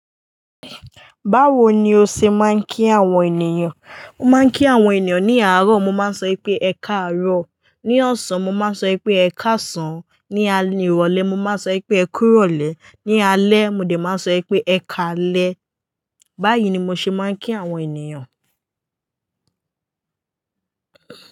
Báwo ni o ṣe máa ń kí àwọn ènìyàn? Mo máa ń kí àwọn ènìyàn ní àárọ̀, mo máa sọ pé "ẹkaàárọ̀"; ní ọ̀sán, mo máa sọ wi pé "ẹkàsan"; ní alẹ́ ìrọ̀lẹ́, mo máa sọ pé "ẹ kú ìrọ̀lẹ́"; ní alẹ́, mo dẹ máa sọ ipé "ẹkaalẹ́". Báyìí ni mo ṣe máa ń kí àwọn ènìyàn.